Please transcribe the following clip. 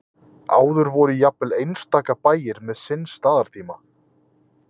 áður voru jafnvel einstaka bæir með sinn staðartíma